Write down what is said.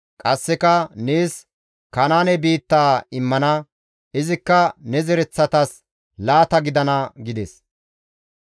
Qasseka, «Nees Kanaane biittaa immana; izikka ne zereththatas laata gidana» gides.